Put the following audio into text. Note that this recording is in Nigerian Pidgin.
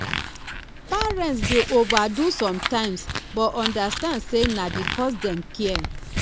parents dey overdo sometimes but understand say na because dem care